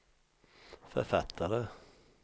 författare